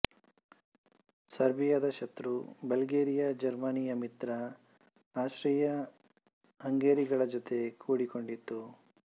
ಸರ್ಬಿಯಾದ ಶತ್ರು ಬಲ್ಗೆರಿಯಾ ಜರ್ಮನಿಯ ಮಿತ್ರ ಅಸ್ಟ್ರಿಯಾಹಂಗೇರಿಗಳ ಜೂತೆ ಕೂಡಿಕೊನ್ಡಿತು